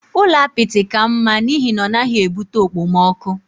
Ụlọ apịtị ka mma n'ihi na ọ naghị ebute okpomọkụ.